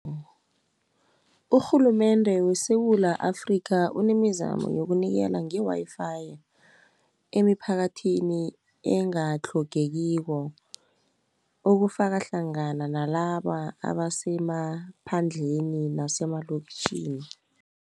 Urhulumende weSewula Afrika unemizamo yokunikela ngewayifayi, emiphakathini engatlhogekiko, ukufaka hlangana nalaba abasemaphandleni nasemalokitjhini.